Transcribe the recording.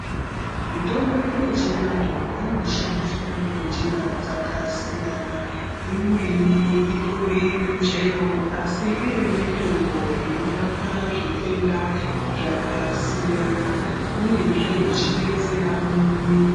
Mitombo yedu yechivantu inoshandiwa ngenjira dzakasiyana. Imweni itori Michele asi iri mitombo inorapa zvitenda zvakasiyana uyezve ichidetsera mumwiri.